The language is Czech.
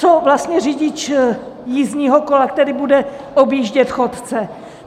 Co vlastně řidič jízdního kola, který bude objíždět chodce?